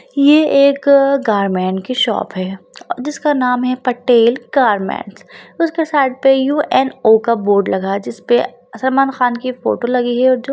यह एक गारमेंट की शॉप है जिसका नाम है पटेल गार्मेंट्स उसके साइड पे यू एन ओ का बोर्ड लगा है जिस पे सलमान खान के फोटो लगी हुई है। और जो --